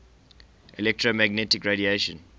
electromagnetic radiation